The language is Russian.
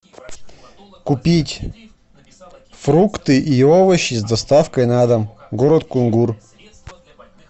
купить фрукты и овощи с доставкой на дом город кунгур